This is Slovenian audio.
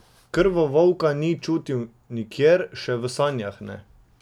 Krvovolka ni čutil nikjer, še v sanjah ne.